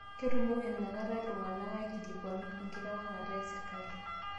Ketumoki nakata iltung'ana aikilikuanu enkitawang'ata te sirkali